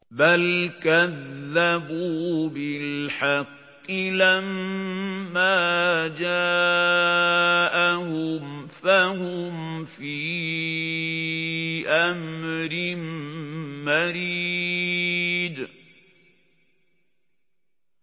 بَلْ كَذَّبُوا بِالْحَقِّ لَمَّا جَاءَهُمْ فَهُمْ فِي أَمْرٍ مَّرِيجٍ